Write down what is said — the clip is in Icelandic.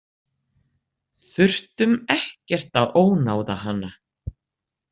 Þurftum ekkert að ónáða hana.